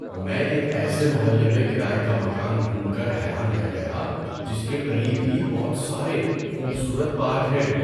میں ایک ایسے محلے میں کرائے کا مکان ڈھونڈ کر حیران رہ گیا جس کے قریب ہی بہت سارے خوبصورت پارک ہیں۔